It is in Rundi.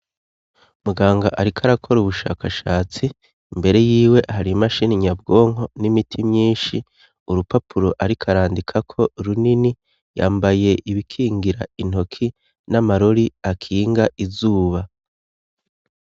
Muganga ariko arakora ubushakashatsi. Imbere yiwe har'imashini nyabwonko, n'imiti myinshi. Urupapuro ariko arandikako runini. Yambaye ibikingira intoki n'amarori akinga izuba.